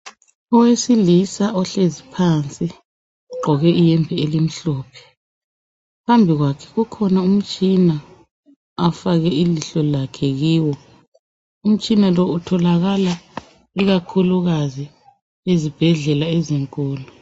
Owesilisa ohlezi phansi ugqoke iyembe elimhlophe . Phambi kwakhe kukhona umtshina afake ilihlo lakhe kiwo .Umtshina lo utholakala ikakhulukazi ezibhedlela ezinkulu.